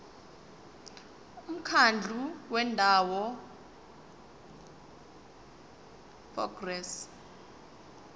umkhandlu wendawo ngerss